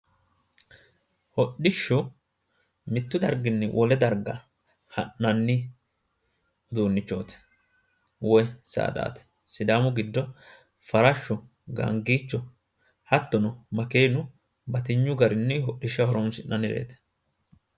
Hodhishshu mittu darginni wole darga ha'nanni uduunnichooti woy saadaati, sidaamu giddo farashshu woy gaangiicho hattono makeenu batinyu garinni hodishshaho horonsi'nannireeti.